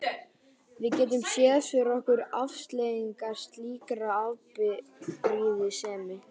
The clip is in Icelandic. Við getum séð fyrir okkur afleiðingar slíkrar afbrýðisemi.